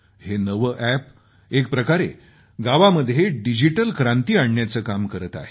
हे नवं अॅप एक प्रकारे गावामध्ये डिजिटल क्रांती आणण्याचं काम करत आहे